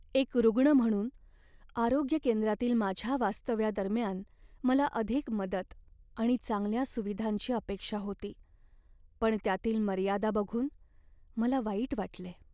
एक रुग्ण म्हणून, आरोग्य केंद्रातील माझ्या वास्तव्यादरम्यान मला अधिक मदत आणि चांगल्या सुविधांची अपेक्षा होती पण त्यातील मर्यादा बघून मला वाईट वाटले.